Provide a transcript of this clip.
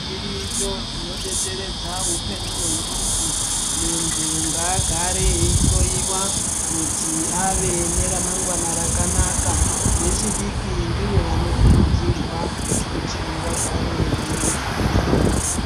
Zviriyo zvinodetseredza upenyu hwemuntu, muntu ngaagare eihloyiwa kuti ave neramangwana rakanaka vechidiki ndivo vanokurudzirwa kuti vagare veienda kuzvibhedhlera.